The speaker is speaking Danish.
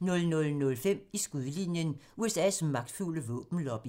00:05: I skudlinjen: USA's magtfulde våbenlobby